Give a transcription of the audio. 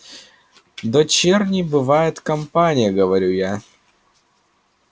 дочерней бывает компания говорю я